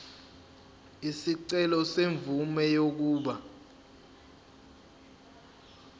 isicelo semvume yokuba